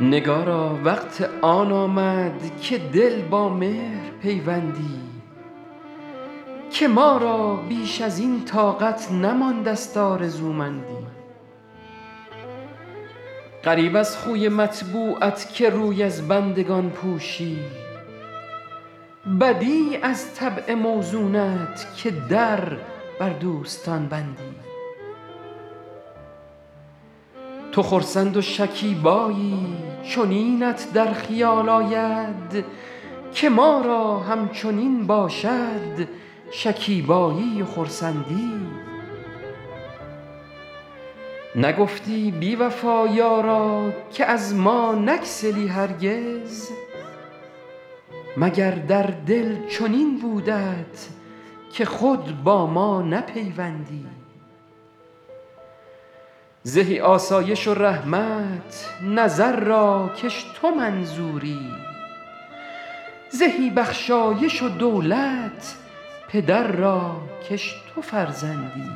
نگارا وقت آن آمد که دل با مهر پیوندی که ما را بیش از این طاقت نمانده ست آرزومندی غریب از خوی مطبوعت که روی از بندگان پوشی بدیع از طبع موزونت که در بر دوستان بندی تو خرسند و شکیبایی چنینت در خیال آید که ما را همچنین باشد شکیبایی و خرسندی نگفتی بی وفا یارا که از ما نگسلی هرگز مگر در دل چنین بودت که خود با ما نپیوندی زهی آسایش و رحمت نظر را کش تو منظوری زهی بخشایش و دولت پدر را کش تو فرزندی